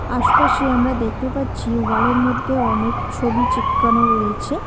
আশপাশে আমরা দেখতে পাচ্ছি ওয়াল -এর মধ্যে অনেক ছবি চিপকানো রয়েছে।